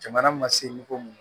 Jamana ma seko mun